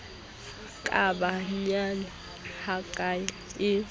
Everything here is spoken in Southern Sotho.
ka ba nyane hakae e